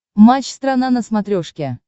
матч страна на смотрешке